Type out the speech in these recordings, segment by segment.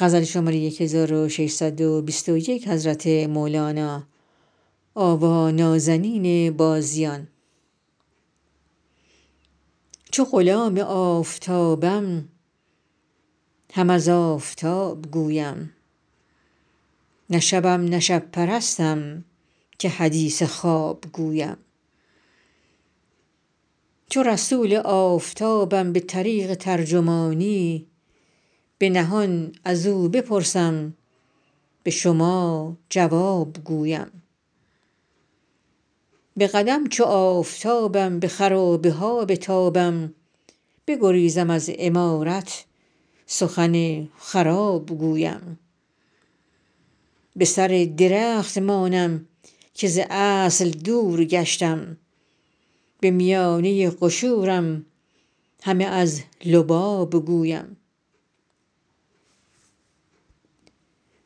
چو غلام آفتابم هم از آفتاب گویم نه شبم نه شب پرستم که حدیث خواب گویم چو رسول آفتابم به طریق ترجمانی به نهان از او بپرسم به شما جواب گویم به قدم چو آفتابم به خرابه ها بتابم بگریزم از عمارت سخن خراب گویم به سر درخت مانم که ز اصل دور گشتم به میانه قشورم همه از لباب گویم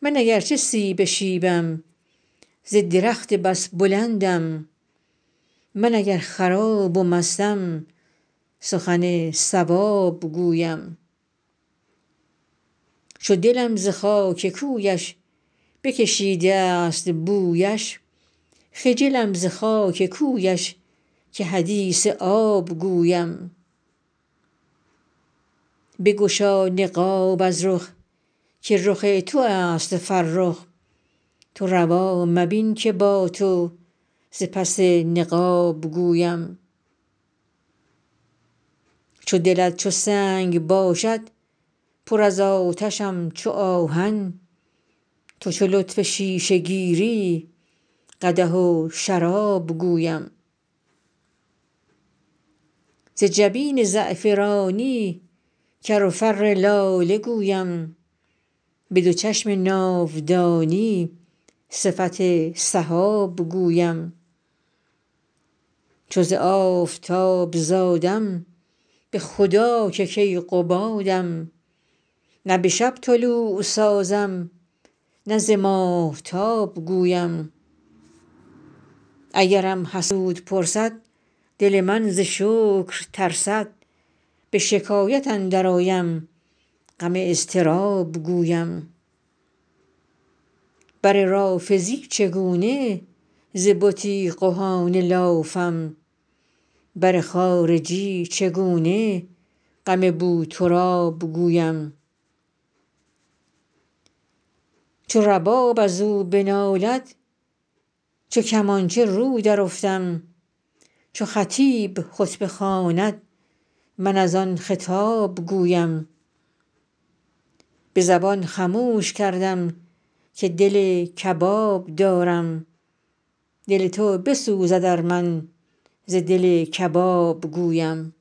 من اگر چه سیب شیبم ز درخت بس بلندم من اگر خراب و مستم سخن صواب گویم چو دلم ز خاک کویش بکشیده است بویش خجلم ز خاک کویش که حدیث آب گویم بگشا نقاب از رخ که رخ تو است فرخ تو روا مبین که با تو ز پس نقاب گویم چو دلت چو سنگ باشد پر از آتشم چو آهن تو چو لطف شیشه گیری قدح و شراب گویم ز جبین زعفرانی کر و فر لاله گویم به دو چشم ناودانی صفت سحاب گویم چو ز آفتاب زادم به خدا که کیقبادم نه به شب طلوع سازم نه ز ماهتاب گویم اگرم حسود پرسد دل من ز شکر ترسد به شکایت اندرآیم غم اضطراب گویم بر رافضی چگونه ز بنی قحافه لافم بر خارجی چگونه غم بوتراب گویم چو رباب از او بنالد چو کمانچه رو درافتم چو خطیب خطبه خواند من از آن خطاب گویم به زبان خموش کردم که دل کباب دارم دل تو بسوزد ار من ز دل کباب گویم